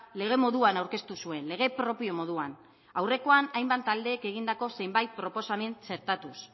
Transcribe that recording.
lege moduan aurkeztu zuen lege propio moduan aurrekoan hainbat taldeek egindako zenbait proposamen txertatuz